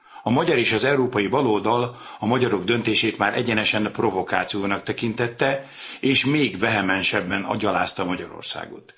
A magyar és az európai baloldal a magyarok döntését már egyenesen provokációnak tekintette, és még vehemensebben gyalázta Magyarországot.